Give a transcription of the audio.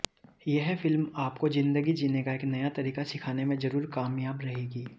यह फिल्म आपको जिंदगी जीने का एक नया तरीके सिखाने में जरूर कामयाह रहेगी